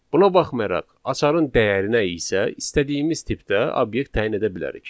Buna baxmayaraq açarın dəyərinə isə istədiyimiz tipdə obyekt təyin edə bilərik.